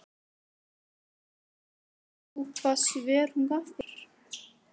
Heimir Már: Manst þú hvaða svör hún gaf þér?